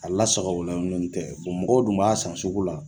A la sagoyalen don n'o tɛ mɔgɔw dun b'a san sugu la,